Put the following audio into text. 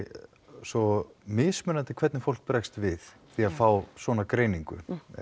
svo mismunandi hvernig fólk bregst við að fá svona greiningu